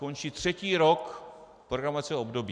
Končí třetí rok programovacího období.